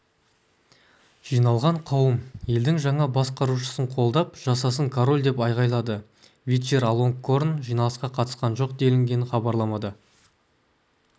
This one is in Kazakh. жиналған қауым елдің жаңа басқарушысын қолдап жасасын король деп айғайлады вачиралонгкорн жиналысқа қатысқан жоқ делінген хабарламада